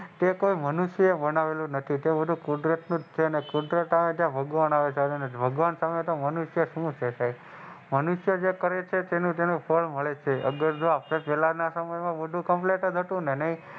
તે કોઈ મનુષ્ય ને બનાવેલું નથી તે બધું કુદરતનુજ છે અને કુદરત નું આવે ભગવાન તમે તો શું મનુષ્ય છે સાહેબ મનુષ્ય જે કરે છે એનું ફળ મળે છે અને અગર જો આપડે પેહલા ના સમય માં બધું કૅપ્મ્લેટ જ હતું ને,